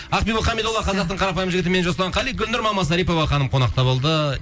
ақбибі хамидолла қазақтың қарапайым жігіті мен жасұлан қали гүлнұр мамасарипова ханым қонақта болды